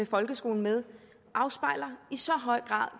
folkeskolen med i så høj grad